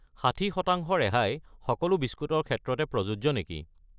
60 % ৰেহাই সকলো বিস্কুট ৰ ক্ষেত্ৰতে প্ৰযোজ্য নেকি?